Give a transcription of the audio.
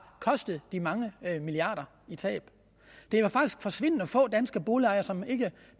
kostet de mange milliarder i tab det er faktisk forsvindende få danske boligejere som ikke